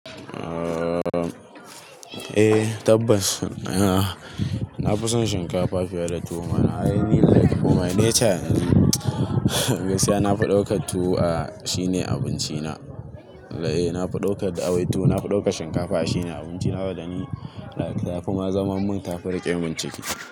Eh tabbas. Na fi son shinkafa fiye da tuwo. Ai ni like tuwo nature. Gaskiya na fi daukar tuwo a shine abinci na. Eh na fi daukar da au tuwo. Na fi daukar shinkafa a shine abinci na wanda ni like. Ta fi ma zaman mun tafi rike min ciki.